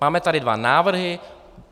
Máme tady dva návrhy.